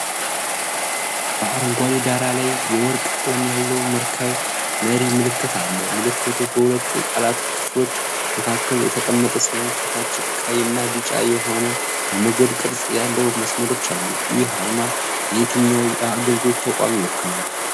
በአረንጓዴ ዳራ ላይ፣ የወርቅ ቀለም ያለው መርከብ መሪ ምልክት አለ። ምልክቱ በሁለት የቃላት ክፍሎች መካከል የተቀመጠ ሲሆን፣ ከታች ቀይና ቢጫ የሆኑ የሞገድ ቅርጽ ያላቸው መስመሮች አሉ። ይህ አርማ የትኛውን የአገልግሎት ተቋም ይወክላል?